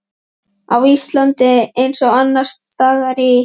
Á Íslandi, eins og annars staðar í